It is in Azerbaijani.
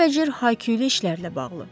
Cürbəcür hay-küylü işlərlə bağlı.